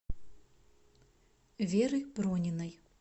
веры прониной